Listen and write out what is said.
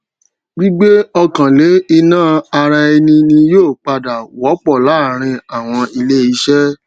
gbígbé ọkàn lé ìná ara ẹni ni yóò pdà wópò láàárín àwọn ilé iṣé